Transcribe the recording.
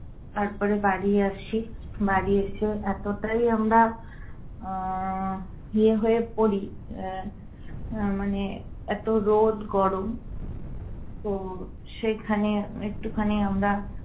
তারপরে বাড়ি আসি। বাড়ি এসে এতোটাই আমরা আহ ইয়ে হয়ে পড়ি আহ আহ মানে এতো রোদ গরম তো সেখানে একটু খানি আমরা